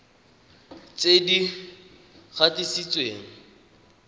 tse di gatisitsweng mme di